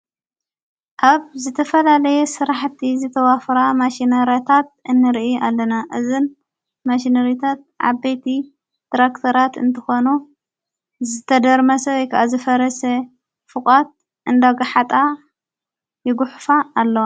ኣብ ዝተፈላለየ ሥራሕቲ ዘተዋፍራ ማሽነርያታት እንርኢ ኣለና። እዝን ማሽነርታት ዓበቲ ትራክተራት እንተኾኖ ዘተደርመሰ ይከዓ ዝፈረሰ ፍቓት እንዳጕሓጣ ይጉኅፋ ኣሎ።